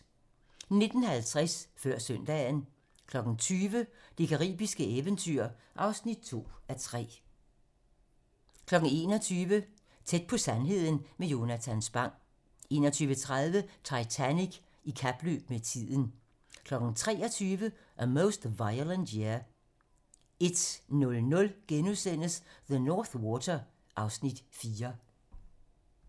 19:50: Før søndagen 20:00: Det caribiske eventyr (2:3) 21:00: Tæt på sandheden med Jonatan Spang 21:30: Titanic i kapløb med tiden 23:00: A Most Violent Year 01:00: The North Water (Afs. 4)*